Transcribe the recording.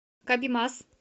кабимас